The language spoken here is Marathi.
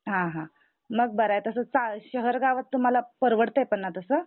हा हा मग बराय तस चा शहर गावात तुम्हाला परवडत पण ना तस?